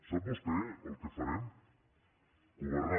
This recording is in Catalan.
sap vostè el que farem governar